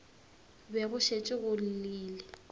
be go šetše go llile